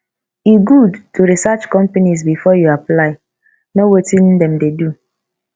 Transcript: e good to research companies before you apply know wetin dem dey do